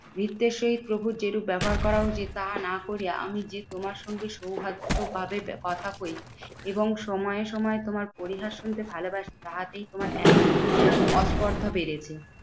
ভৃত্যের সহিত প্রভুর যেরূপ ব্যবহার করা উচিত তাহা না করিয়া আমি যে তোমার সঙ্গে সৌভাগ্য ভাবে কথা কই এবং সময়ে সময়ে তোমার পরিহাস শুনতে ভালোবাসী, তাহাতেই তোমার এত আস্পর্ধা বেড়েছে।